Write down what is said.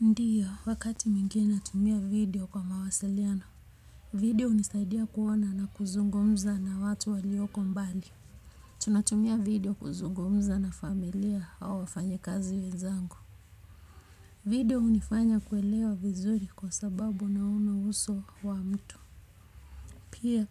Ndiyo, wakati mwingine natumia video kwa mawasiliano. Video hunisaidia kuona na kuzungumza na watu walioko mbali. Tunatumia video kuzungumza na familia au wafanyikazi wezangu. Video hunifanya kuelewa vizuri kwa sababu naona uso wa mtu. Pia,